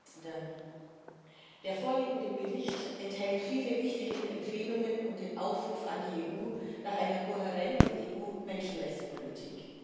Herr Präsident! Der vorliegende Bericht enthält viele wichtige Empfehlungen und den Aufruf an die EU nach einer kohärenten EU Menschenrechtspolitik.